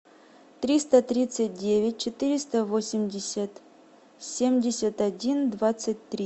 триста тридцать девять четыреста восемьдесят семьдесят один двадцать три